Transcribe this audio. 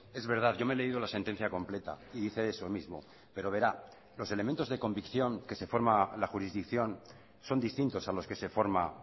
es verdad yo me he leído la sentencia completa y dice eso mismo pero verá los elementos de convicción que se forma la jurisdicción son distintos a los que se forma